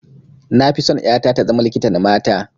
Na fi son ƴata ta zama likitan mata